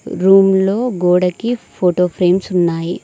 Room లో గోడకి photo frames ఉన్నాయి.